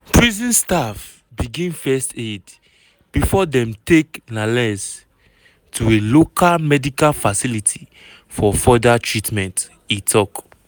prison staff begin first aid bifor dem take lanez to a local medical facility for further treatment e tok.